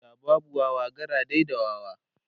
da babu Wawa gara dai da wawa